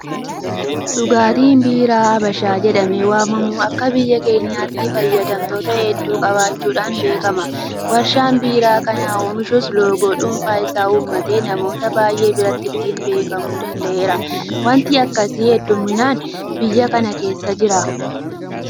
Dhugaatiin biiraa Habashaa jedhamee waamamu akka biyya keenyaatti fayyadamtoota hedduu qabaachuudhaan beekama. Warshaan Biiraa kana oomishus loogoo dhuunfaa isaa uummatee namoota baay'ee biratti ittiin beekamuu danda'eera. Waanti akkasii heddumminaan biyya kana keessa jira.